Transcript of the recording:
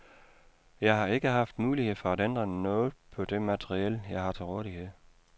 Jeg har ikke haft mulighed for at ændre noget på det materiel, jeg har til rådighed.